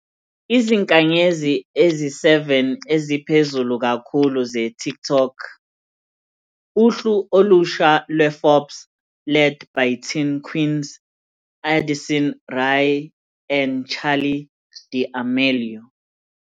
"Izinkanyezi Ezi-7 Eziphezulu Kakhulu ze-TikTok- Uhlu Olusha lwe-Forbes Led by Teen Queens Addison Rae And Charli D'Amelio".